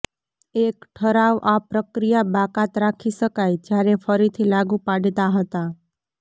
એક ઠરાવ આ પ્રક્રિયા બાકાત રાખી શકાય જ્યારે ફરીથી લાગુ પાડતા હતા